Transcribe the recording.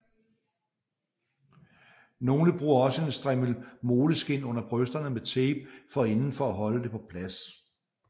Nogle bruger også en strimmel moleskin under brysterne med tape for enden for at holde det på plads